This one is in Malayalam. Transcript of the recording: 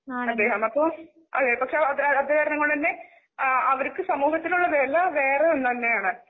അദ്ദേഹം അപ്പൊ പക്ഷെ ആ അവര്ക്ക് സമൂഹത്തിലുള്ളവിലവരെവേറെഒന്നുതന്നെയാണ്.